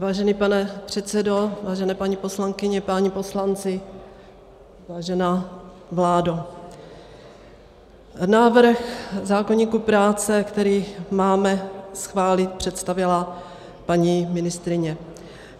Vážený pane předsedo, vážené paní poslankyně, páni poslanci, vážená vládo, návrhu zákoníku práce, který máme schválit, představila paní ministryně.